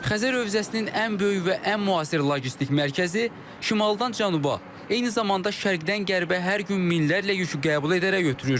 Xəzər hövzəsinin ən böyük və ən müasir logistik mərkəzi şimaldan cənuba, eyni zamanda şərqdən qərbə hər gün minlərlə yükü qəbul edərək ötürür.